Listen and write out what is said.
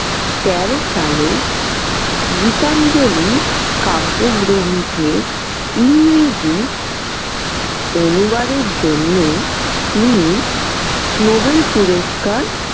তেরো সালে গীতাঞ্জলি কাব্যগ্রন্থের ইংরেজি অনুবাদের জন্য তিনি নোবেল পুরস্কার।